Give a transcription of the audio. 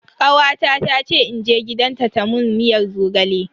Kawata ta ce in je gidanta ta mun miyar zogale.